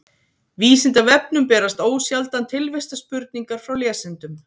vísindavefnum berast ósjaldan tilvistarspurningar frá lesendum